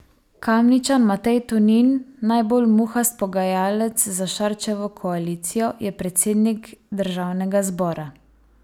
Kamničan Matej Tonin, najbolj muhast pogajalec za Šarčevo koalicijo, je predsednik državnega zbora.